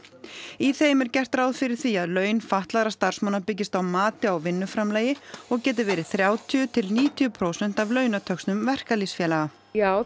í þeim er gert ráð fyrir því að laun fatlaðra starfsmanna byggist á mati á vinnuframlagi og geti verið þrjátíu til níutíu prósent af launatöxtum verkalýðsfélaga já